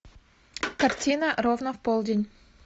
картина ровно в полдень